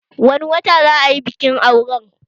Wani wata za a yi bikin auren